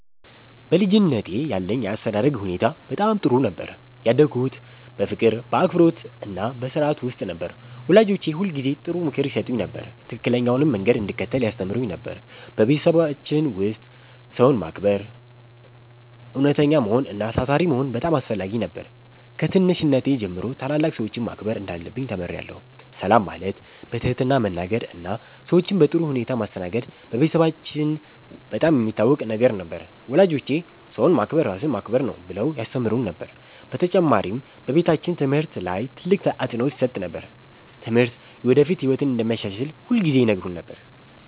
በልጅነቴ ያለኝ የአስተዳደግ ሁኔታ በጣም ጥሩ ነበር። ያደግሁት በፍቅር፣ በአክብሮትና በሥርዓት ውስጥ ነው። ወላጆቼ ሁልጊዜ ጥሩ ምክር ይሰጡኝ ነበር፣ ትክክለኛውንም መንገድ እንድከተል ያስተምሩኝ ነበር። በቤታችን ውስጥ ሰውን ማክበር፣ እውነተኛ መሆን እና ታታሪ መሆን በጣም አስፈላጊ ነበር። ከትንሽነቴ ጀምሮ ታላላቅ ሰዎችን ማክበር እንዳለብኝ ተምሬአለሁ። ሰላም ማለት፣ በትህትና መናገር እና ሰዎችን በጥሩ ሁኔታ ማስተናገድ በቤታችን በጣም የሚታወቅ ነገር ነበር። ወላጆቼ “ሰውን ማክበር ራስን ማክበር ነው” ብለው ያስተምሩን ነበር። በተጨማሪም በቤታችን ትምህርት ላይ ትልቅ አፅንዖት ይሰጥ ነበር። ትምህርት የወደፊት ህይወትን እንደሚያሻሽል ሁልጊዜ ይነግሩን ነበር።